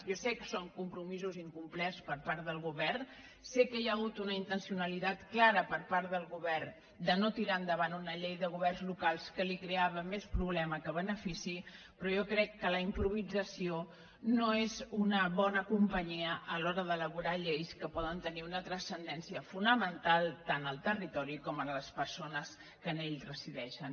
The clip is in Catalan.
jo sé que són compromisos incom·plerts per part del govern sé que hi ha hagut una in·tencionalitat clara per part del govern de no tirar en·davant una llei de governs locals que li creava més problema que benefici però jo crec que la improvisa·ció no és una bona companyia a l’hora d’elaborar lleis que poden tenir una transcendència fonamental tant al territori com a les persones que en ell resideixen